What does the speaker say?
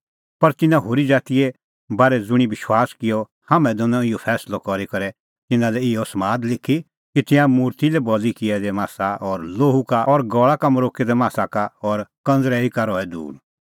पर तिन्नां होरी ज़ातीए बारै ज़ुंणी विश्वास किअ हाम्हैं दैनअ इहअ फैंसलअ करी करै तिन्नां लै इहअ समाद लिखी कि तिंयां मुर्ति लै बल़ी किऐ दै मासा और लोहू का और गल़ा का मरोक्कै दै मासा का और कंज़रैई का रहै दूर